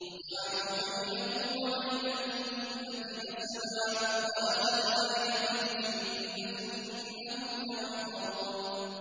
وَجَعَلُوا بَيْنَهُ وَبَيْنَ الْجِنَّةِ نَسَبًا ۚ وَلَقَدْ عَلِمَتِ الْجِنَّةُ إِنَّهُمْ لَمُحْضَرُونَ